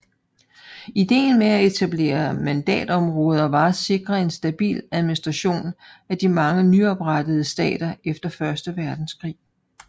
Ideen med at etablere mandatområder var at sikre en stabil administration af de mange nyoprettede stater efter første verdenskrig